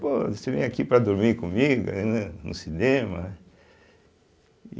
Pô, você vem aqui para dormir comigo eh ne no cinema?